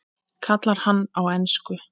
kallar hann á ensku.